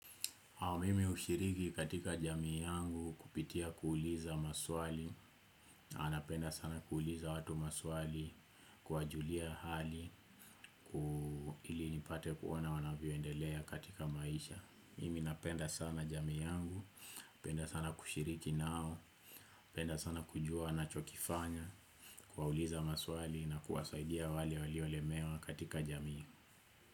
Mimi hushiriki katika jamii yangu kupitia kuuliza maswali, napenda sana kuuliza watu maswali kuwajulia hali ili nipate kuona wanavyoendelea katika maisha. Mimi napenda sana jamii yangu, napenda sana kushiriki nao, napenda sana kujua wanachokifanya kuwauliza maswali na kuwasaidia wale waliolemewa katika jamii.